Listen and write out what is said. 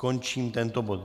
Končím tento bod.